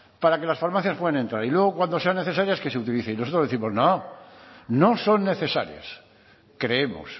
para que las farmacias puedan entrar y luego cuando sean necesarias que se utilicen y nosotros décimos no no son necesarias creemos